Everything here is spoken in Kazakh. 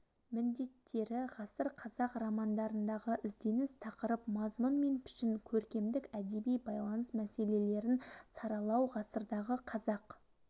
міндеттері ғасыр қазақ романдарындағы ізденіс тақырып мазмұн мен пішін көркемдік әдеби байланыс мәселелерін саралау ғасырдағы қазақ